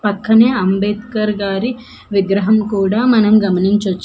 పక్కనే అంబేద్కర్ గారి విగ్రహం కూడా మనం గమనించొచ్చు.